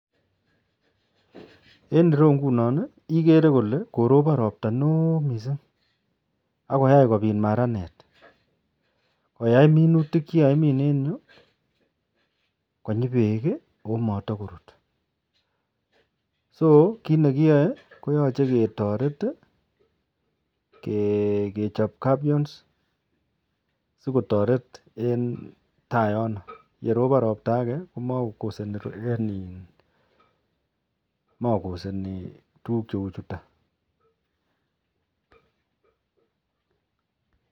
En ireu inginon igere Kole korobon robta neon mising akoyai kobit maranet koyai minutik chikakimin en yu konyi bek akomatakorut ako kit nekiyae koyache ketaret kechop gabions sikotaret en tai yoton AK yerob robta Age komakoyakse kit neuni